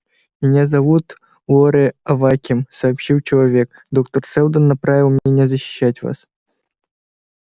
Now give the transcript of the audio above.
меня зовут лоре аваким сообщил человек доктор сэлдон направил меня защищать вас